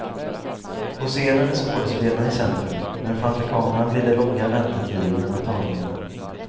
På scenen är skådespelarna i centrum, men framför kameran blir det långa väntetider mellan tagningarna.